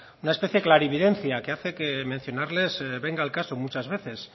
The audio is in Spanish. una especie clarividencia que hace que mencionarles venga al caso muchas veces